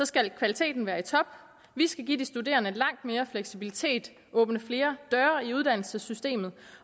skal kvaliteten være i top vi skal give de studerende langt mere fleksibilitet åbne flere døre i uddannelsessystemet